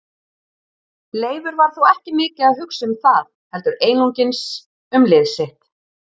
Leifur var þó ekki mikið að hugsa um það heldur einungis um lið sitt.